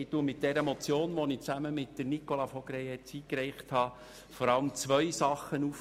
Mit dieser Motion, die ich gemeinsam mit Nicola von Greyerz eingereicht habe, greife ich vor allem zwei Punkte auf: